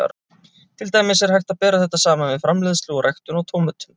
Til dæmis er hægt að bera þetta saman við framleiðslu og ræktun á tómötum.